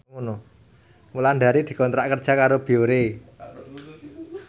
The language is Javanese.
Wulandari dikontrak kerja karo Biore